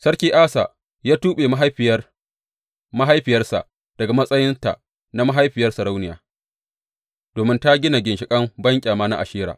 Sarki Asa ya tuɓe mahaifiyar mahaifiyarsa daga matsayinta na mahaifiyar sarauniya, domin ta gina ginshiƙin banƙyama na Ashera.